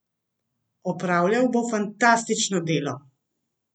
Opravljal bo fantastično delo!